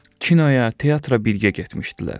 Kinoya, teatra birgə getmişdilər.